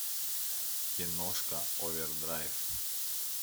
киношка овердрайв